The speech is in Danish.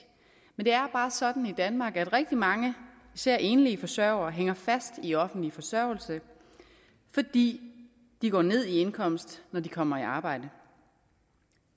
men det er bare sådan i danmark at rigtig mange især enlige forsørgere hænger fast i offentlig forsørgelse fordi de går ned i indkomst når de kommer i arbejde